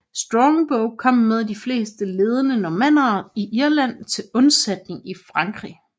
Strongbow kom med de fleste ledende normannere i Irland til undsætning i Frankrig